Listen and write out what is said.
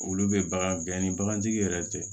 Olu bɛ bagan gɛn ni bagantigi yɛrɛ tɛ